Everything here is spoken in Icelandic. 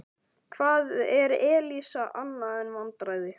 Hvað er Elísa annað en vandræði?